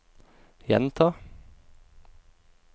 gjenta